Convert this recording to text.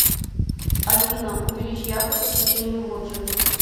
афина увеличь яркость освещения в лоджии